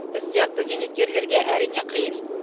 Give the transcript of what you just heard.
біз сияқты зейнеткерлерге әрине қиын